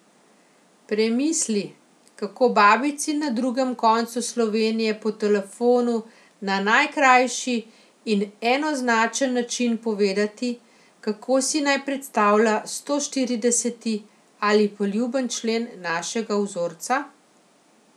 Premisli, kako babici na drugem koncu Slovenije po telefonu na najkrajši in enoznačen način povedati, kako si naj predstavlja sto štirideseti ali poljuben člen našega vzorca?